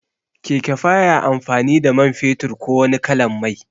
Keke baya amfani da man fetur ko wani kalan mai